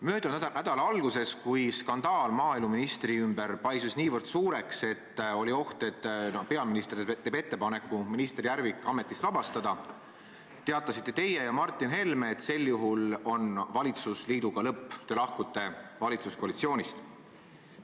Möödunud nädala alguses, kui skandaal maaeluministri ümber paisus niivõrd suureks, et oli oht, et peaminister teeb ettepaneku minister Järvik ametist vabastada, teatasite teie ja Martin Helme, et sel juhul on valitsusliiduga lõpp, te lahkute valitsuskoalitsoonist.